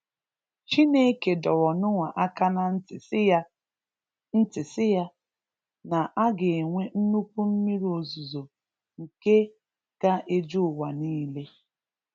Chineke dọrọ Noah aka na ntị si ya, ntị si ya, na aga enwe nnukwu mmiri ozizo nke ga eju ụwa niile.